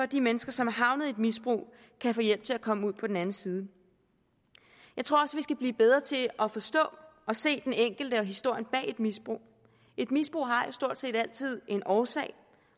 de mennesker som er havnet i et misbrug kan få hjælp til at komme ud på den anden side jeg tror også vi skal blive bedre til at forstå og se den enkelte og historien bag et misbrug et misbrug har stort set altid en årsag